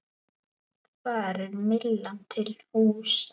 Þar er Myllan til húsa.